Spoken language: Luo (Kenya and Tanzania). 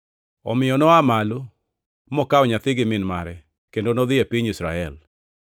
Omiyo noa malo, mokawo nyathi gi min mare, kendo nodhi e piny Israel.